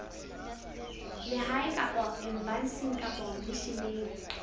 lehae kapa embasing kapa misheneng